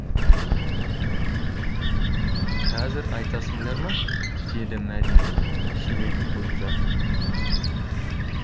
қазір айтасыңдар ма деді мәдина шелегін қойып жатып